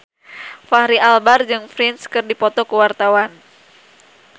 Fachri Albar jeung Prince keur dipoto ku wartawan